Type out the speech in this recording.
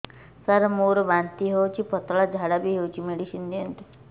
ସାର ମୋର ବାନ୍ତି ହଉଚି ପତଲା ଝାଡା ବି ହଉଚି ମେଡିସିନ ଦିଅନ୍ତୁ